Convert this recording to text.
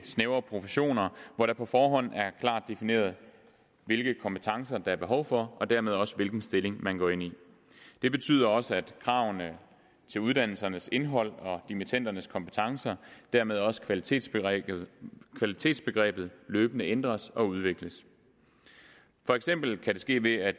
snævre professioner hvor det på forhånd er klart defineret hvilke kompetencer der er behov for og dermed også hvilken stilling man går ind i det betyder også at kravene til uddannelsernes indhold og dimittendernes kompetencer og dermed også kvalitetsbegrebet kvalitetsbegrebet løbende ændres og udvikles for eksempel kan det ske ved at